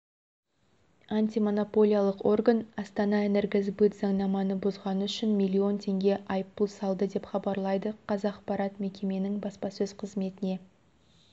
антимонополиялық орган астанаэнергосбыт заңнаманы бұзғаны үшін миллион теңге айыппұл салды деп хабарлайды қазақпарат мекеменің баспасөз қызметіне